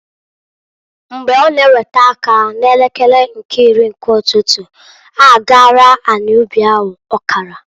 Mgbe ọ na ewete aka n'elekere nke iri nke ụtụtụ, ha agaala anị ubi ahụ ọkara.